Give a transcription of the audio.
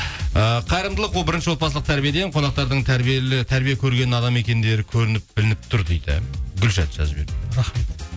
ыыы қайырымдылық ол бірінші отбасылық тәрбиеден қонақтардың тәрбие көрген адам екендері көрініп білініп тұр дейді гүлшат жазып жіберіпті рахмет